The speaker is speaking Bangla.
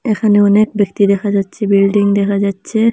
এখানে অনেক ব্যক্তি দেখা যাচ্ছে বিল্ডিং দেখা যাচ্ছে।